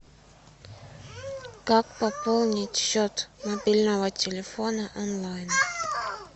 как пополнить счет мобильного телефона онлайн